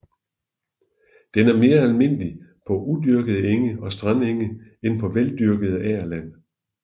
Den er mere almindelige på uopdyrkede enge og strandenge end på veldyrket agerland